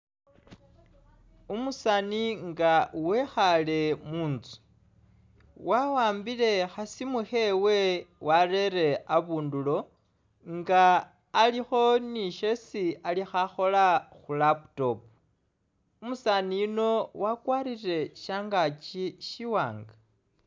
Umusaani nga wekhaale mu nzu, wa'ambile kha simu khewe warere abundulo nga alikho ni syesi ali khakhola khu laptop. Umusaani yuno wakwarire shangaaki syiwaanga.